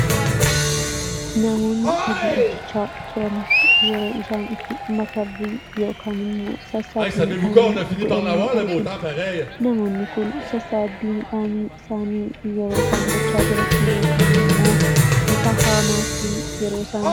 Namoonni hojii hojjechaa turan yeroo isaan itti makarrii yookaan sassaabbii midhaanii godhan ni argina. Namoonni kun sassaabbii midhaanii isaanii yeroo isaan gochaa jiran yookaan immoo bifa haamaatiin yeroo isaan walitti qaban ni argina.